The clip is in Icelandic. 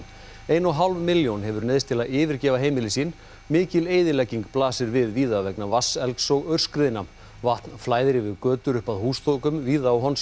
ein og hálf milljón hefur neyðst til að yfirgefa heimili sín mikil eyðilegging blasir við víða vegna vatnselgs og aurskriðna vatn flæðir yfir götur og upp að húsþökum víða á